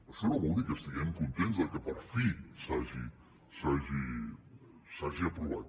això no vol dir que estiguem contents que per fi s’hagi aprovat